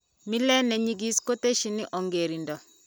Mile ninyekis kutesyini ongerinto.